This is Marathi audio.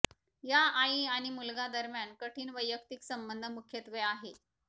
या आई आणि मुलगा दरम्यान कठीण वैयक्तिक संबंध मुख्यत्वे आहे